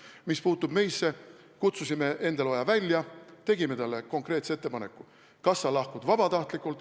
Mis puutub meisse, siis me kutsusime Endel Oja välja, tegime talle konkreetse ettepaneku: vahest sa lahkud vabatahtlikult.